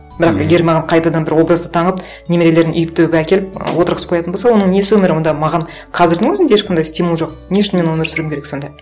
бірақ егер маған қайтадан бір образды танып немерелерін үйіп төгіп әкеліп отырғызып қоятын болса оның несі өмір онда маған қазірдің өзінде ешқандай стимул жоқ не үшін мен өмір сүруім керек сонда